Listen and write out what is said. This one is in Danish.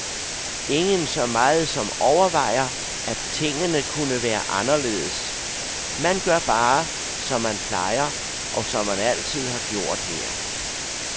Ingen så meget som overvejer, at tingene kunne være anderledes, man gør bare, som man plejer, og som man altid har gjort her.